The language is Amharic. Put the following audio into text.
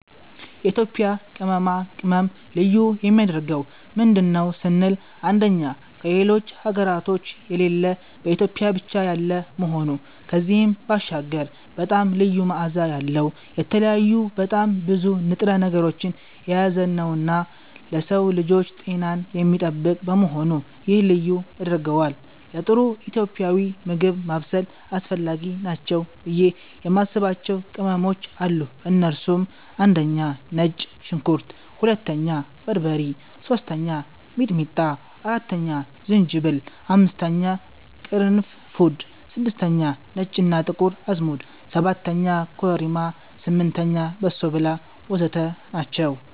የኢትዮጵያ ቅመማ ቅመም ልዩ የሚያደርገው ምንድን ነው ስንል አንደኛ ከሌሎች ሀገራቶች የሌለ በኢትዮጵያ ብቻ ያለ መሆኑ ከዚህም ባሻገር በጣም ልዩ መዓዛ ያለዉ፣ የተለያዩ በጣም ብዙ ንጥረ ነገሮችን የያዘነዉና ለሰዉ ልጆች ጤናን የሚጠብቅ በመሆኑ ይሄ ልዩ ያደርገዋል። ለጥሩ ኢትዮጵያዊ ምግብ ማብሰል አስፈላጊ ናቸው ብዬ የማስባቸዉ ቅመሞች አሉ እነሱም፦ 1)ነጭ ሽንኩርት 2)በርበሬ 3)ሚጥሚጣ 4)ዝንጅብል 5)ቅርንፉድ 6)ነጭ እና ጥቁር አዝሙድ 7)ኮረሪማ 8)በሶብላ ወዘተ ናቸዉ።